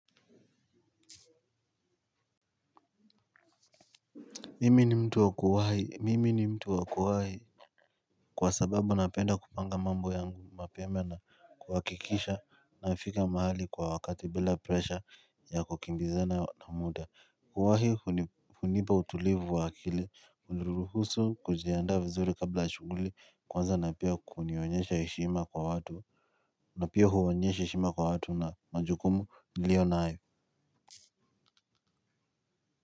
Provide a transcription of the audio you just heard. Mimi ni mtu wa kuwahi mimi ni mtu wa kuwahi kwa sababu napenda kupanga mambo yangu mapema na kuhakikisha nafika mahali kwa wakati bila presha ya kukimbizana na muda kuwahi hunipa utulivu wa akili huniruhusu kujiandaa vizuri kabla shughuli kwanza na pia kunionyesha heshima kwa watu na pia huonyesha heshima kwa watu na majukumu nilio nayo.